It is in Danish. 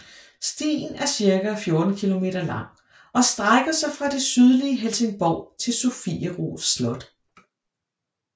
Stien er cirka 14 kilometer lang og strækker sig fra det sydlige Helsingborg til Sofiero Slot